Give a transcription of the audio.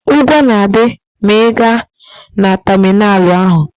Ụgwọ na-adị ma ị gaa na tamịnalụ ahụ.